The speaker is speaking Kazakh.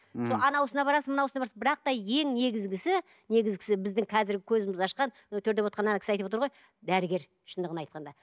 сол анауысына барасың мынауысына барасың бірақ та ең негізгісі негізгісі біздің қазіргі көзімізді ашқан анау төрде отырған ана кісі айтып отыр ғой дәрігер шындығын айтқанда